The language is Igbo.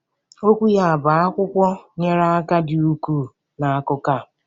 Okwu ya, bụ́ akwụkwọ, nyere aka dị ukwuu n'akụkụ a.